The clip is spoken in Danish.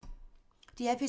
DR P3